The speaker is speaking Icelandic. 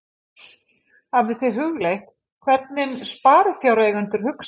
Hafið þið hugleitt hvernig sparifjáreigendur hugsa?